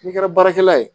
N'i kɛra baarakɛla ye